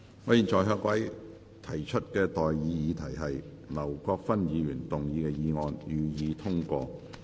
我現在向各位提出的待議議題是：劉國勳議員動議的議案，予以通過。